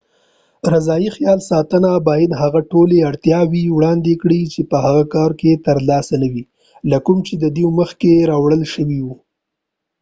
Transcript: رضاعي خیال ساتنه باید هغه ټولې اړتیاوې وړاندې کړي چې په هغه کور کې ترلاسه نه وې له کوم چې دوی مخکې راوړل شوي ول